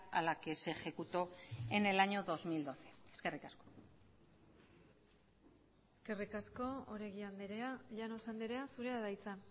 a la que se ejecutó en el año dos mil doce eskerrik asko eskerrik asko oregi andrea llanos andrea zurea da hitza